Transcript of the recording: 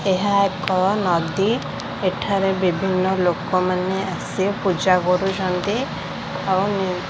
ଏହା ଏକ ନଦୀ ଏଠାରେ ବିଭିନ୍ନ ଲୋକମାନେ ଆସି ପୂଜା କରୁଛନ୍ତି ଆଉ --